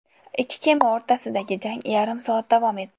Ikki kema o‘rtasidagi jang yarim soat davom etdi.